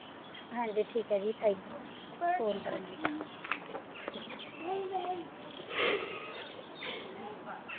ਹਾਂ ਜੀ ਠੀਕ ਹੈ ਜੀ thank you phone ਕਰਨ ਲਈ ਠੀਕ ਹੈ ਜੀ